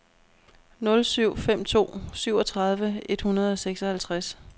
nul syv fem to syvogtredive et hundrede og seksoghalvtreds